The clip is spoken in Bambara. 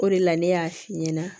O de la ne y'a f'i ɲɛna